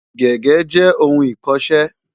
Gègé jẹ́ ohun ìkọṣẹ́.